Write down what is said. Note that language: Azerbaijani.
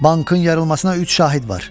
Bankın yarılmasına üç şahid var.